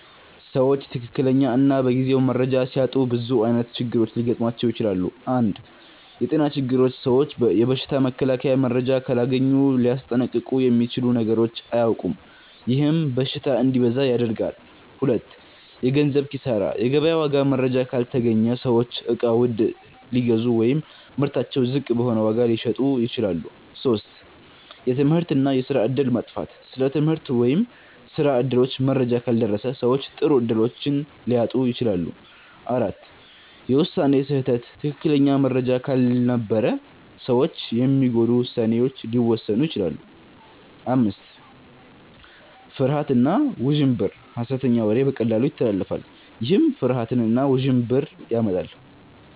ሰዎች ትክክለኛ እና በጊዜው መረጃ ሲያጡ ብዙ ዓይነት ችግሮች ሊገጥሟቸው ይችላሉ። 1. የጤና ችግሮች ሰዎች የበሽታ መከላከያ መረጃ ካላገኙ ሊያስጠንቀቁ የሚችሉ ነገሮችን አያውቁም፤ ይህም በሽታ እንዲበዛ ያደርጋል። 2. የገንዘብ ኪሳራ የገበያ ዋጋ መረጃ ካልተገኘ ሰዎች እቃ ውድ ሊገዙ ወይም ምርታቸውን ዝቅ በሆነ ዋጋ ሊሸጡ ይችላሉ። 3. የትምህርት እና የስራ እድል መጥፋት ስለ ትምህርት ወይም ስራ እድሎች መረጃ ካልደረሰ ሰዎች ጥሩ እድሎችን ሊያጡ ይችላሉ። 4. የውሳኔ ስህተት ትክክለኛ መረጃ ካልነበረ ሰዎች የሚጎዱ ውሳኔዎችን ሊወስኑ ይችላሉ። 5. ፍርሃት እና ውዥንብር ሐሰተኛ ወሬ በቀላሉ ይተላለፋል፤ ይህም ፍርሃት እና ውዥንብር ያመጣል።